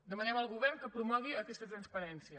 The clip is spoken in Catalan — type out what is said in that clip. demanem al govern que promogui aquesta transparència